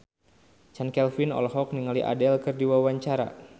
Chand Kelvin olohok ningali Adele keur diwawancara